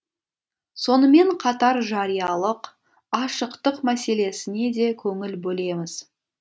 сонымен қатар жариялық ашықтық мәселесіне де көңіл бөлеміз